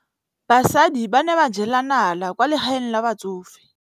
Basadi ba ne ba jela nala kwaa legaeng la batsofe.